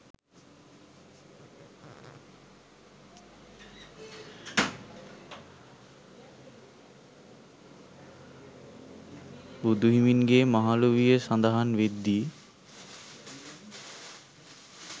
බුදුහිමින්ගේ මහලු විය සඳහන් වෙද්දී